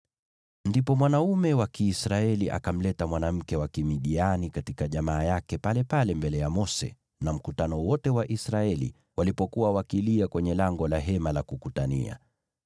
Ndipo mwanaume wa Kiisraeli akamleta mwanamke wa Kimidiani katika jamaa yake palepale mbele ya Mose na mkutano wote wa Israeli walipokuwa wakilia kwenye lango la Hema la Kukutania.